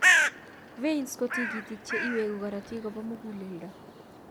Veins ko tigitk che iwegu korotik kopa muguleldo.